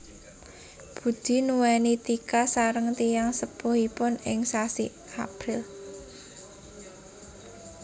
Budi nuweni Tika sareng tiyang sepuhipun ing sasi April